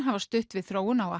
hafa stutt við þróun á